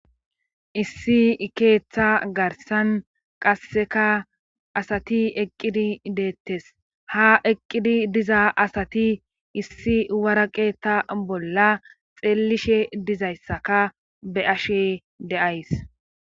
Issi keeththa garsan qasseka asati eqqidi deettes ha eqqidi diza asati issi waraqeetta bolla xeellishe dizayssaka be ashe de7ays